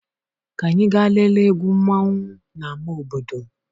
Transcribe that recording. Ka anyị gaa lelee egwu mmanwu na ámá obodo.